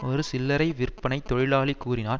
ஒரு சில்லரை விற்பனைத் தொழிலாளி கூறினார்